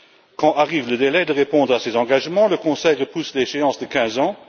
Quand arrive le délai de répondre à ses engagements, le Conseil repousse l'échéance de quinze ans.